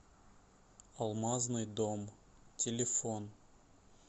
алмазный домъ телефон